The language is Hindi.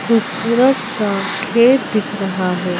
ख़ूबसूरत सा खेत दिख रहा है।